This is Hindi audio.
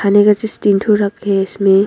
तीन ठो रखे हैं इसमें।